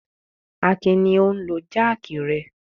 Akin ni ó ń lo jáákì rẹ.